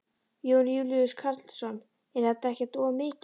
Jón Júlíus Karlsson: Er þetta ekkert of mikið?